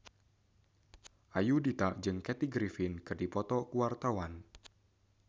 Ayudhita jeung Kathy Griffin keur dipoto ku wartawan